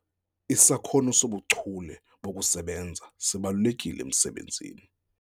Isakhono sobuchule bokusebenza sibalulekile emsebenzini.